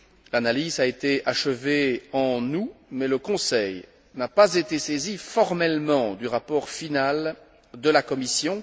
L'analyse a été achevée en août, mais le Conseil n'a pas été saisi formellement du rapport final de la Commission.